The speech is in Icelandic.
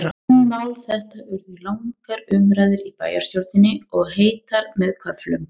Um mál þetta urðu langar umræður í bæjarstjórninni, og heitar með köflum.